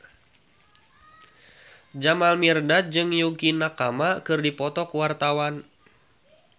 Jamal Mirdad jeung Yukie Nakama keur dipoto ku wartawan